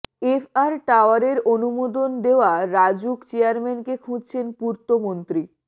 F R টাওয়ারের অনুমোদন দেওয়া রাজউক চেয়ারম্যানকে খুঁজছেন পূর্তমন্ত্রী